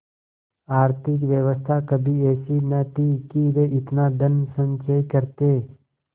आर्थिक व्यवस्था कभी ऐसी न थी कि वे इतना धनसंचय करते